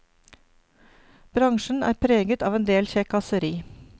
Bransjen er preget av en del kjekkaseri.